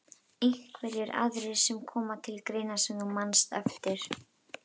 Einhverjir aðrir sem koma til greina sem þú manst eftir?